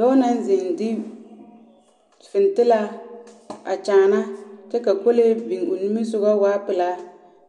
Dͻͻ naŋ zeŋ de fintilaa a kyaana kyԑ ka kolee biŋ o nimisogͻ a waa pelaa.